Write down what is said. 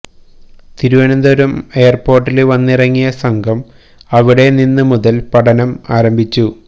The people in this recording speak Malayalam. തിരുവനന്തപുരം എയര്പോര്ട്ടില് വന്നിറങ്ങിയ സംഘം അവിടെ നിന്ന് മുതല് പഠനം ആരംഭിച്ചു